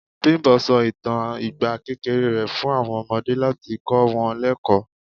Bimbo sọ ìtàn ìgbà kékeré rẹ̀ fún àwọn ọmọdé láti kọ wọn lekoo.